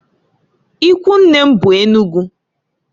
Ikwunne m be Enugu.